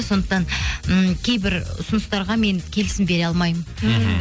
сондықтан ммм кейбір ұсыныстарға мен келісім бере алмаймын мхм